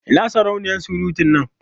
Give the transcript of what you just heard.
Ina sarauniya surutun nan?